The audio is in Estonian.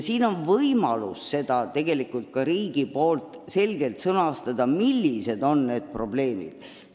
Riigil on seega võimalus selgelt sõnastada, millised on meie põhiprobleemid.